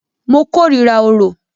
Mo kòrira orò.